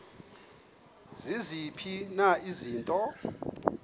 ziziphi na izinto